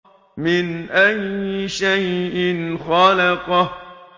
مِنْ أَيِّ شَيْءٍ خَلَقَهُ